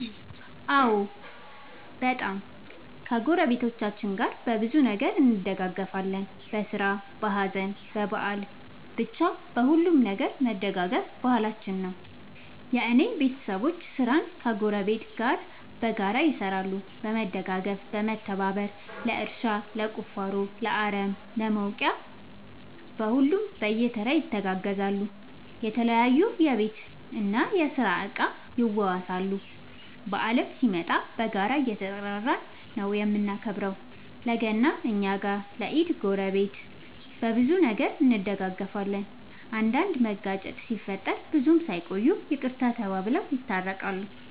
አዎ በጣም ከ ጎረቤቶቻችን ጋር በብዙ ነገር እንደጋገፋለን በስራ በሀዘን በበአል በቻ በሁሉም ነገር መደጋገፍ ባህላችን ነው። የእኔ ቤተሰቦቼ ስራን ከ ጎረቤት ጋር በጋራ ይሰራሉ በመደጋገፍ በመተባበር ለእርሻ ለቁፋሮ ለአረም ለ ውቂያ ለሁሉም በየተራ ይተጋገዛሉ የተለያዩ የቤት እና የስራ እቃ ይዋዋሳሉ። በአልም ሲመጣ በጋራ እየተጠራራን ነው የምናከብረው ለ ገና እኛ ጋ ለ ኢድ ጎረቤት። በብዙ ነገር እንደጋገፋለን። አንዳንድ መጋጨት ሲፈጠር ብዙም ሳይቆዩ ይቅርታ ተባብለው የታረቃሉ።